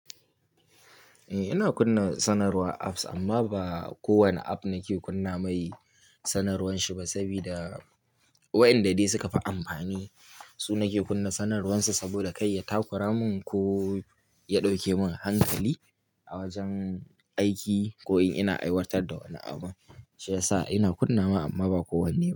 Eh, ina kunna sanarwar apps amma ba kowane app nake kunna mai sanarwarshi ba, sabida wayanda dai suka fi amfani su nake kunna sanarwar su saboda kai ya takura mun ko ya dauke mun hankali a wajen aiki ko in ina aiwatar da wani abu, shi yasa ina kunna wa amma ba kowanne ba.